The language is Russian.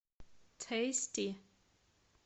тэйсти